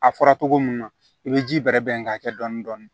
A fɔra togo mun na i be ji bɛrɛ bɛn k'a kɛ dɔni dɔni